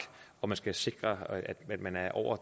og hvor det skal sikres at man er over